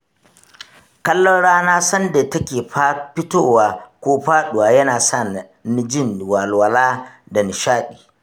Kallon rana sanda take fitowa ko faɗuwa, yana sa ni jin walwala da nishaɗi.